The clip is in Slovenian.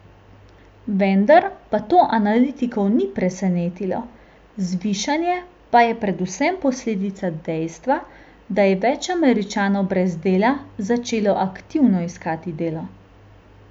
Vendar pa to analitikov ni presenetilo, zvišanje pa je predvsem posledica dejstva, da je več Američanov brez dela začelo aktivno iskati delo.